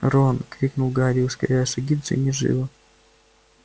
рон крикнул гарри ускоряя шаги джинни жива